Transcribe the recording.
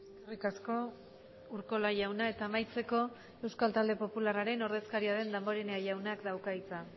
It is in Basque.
eskerrik asko urkola jauna eta amaitzeko euskal talde popularraren ordezkaria den damborenea jaunak dauka hitza